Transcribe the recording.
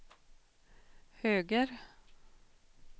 höger